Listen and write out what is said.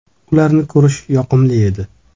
“Ularni ko‘rish yoqimli edi.